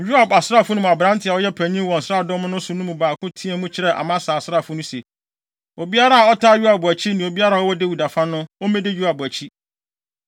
Yoab asraafo no mu aberante a ɔyɛ panyin wɔ nsraadɔm no so no mu baako teɛɛ mu kyerɛɛ Amasa asraafo no se, “Obiara a ɔtaa Yoab akyi ne obiara a ɔwɔ Dawid afa no, ommedi Yoab akyi.”